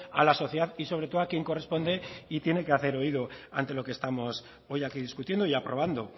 a la sociedad y sobre todo a quien corresponde y tiene que hacer oído ante lo que estamos hoy aquí discutiendo y aprobando